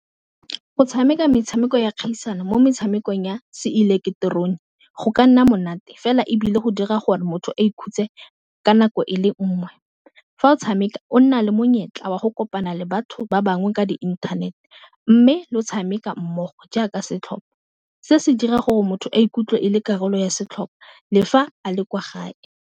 Go tshameka metshameko ya kgaisano mo metshamekong ya Se ileketerone, go ka nna monate fela ebile go dira gore motho a ikhutse ka nako ele nngwe, fa o tshameka o nale monyetla wa go kopana le batho ba bangwe ka di inthanete, mme lo tshameka mmogo jaaka setlhopha se se dira gore motho a ikutlwe e le karolo ya setlhopha le fa a le kwa gae.